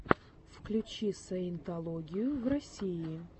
включи саентологию в россии